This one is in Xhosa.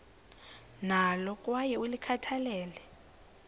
nalo kwaye ulikhathalele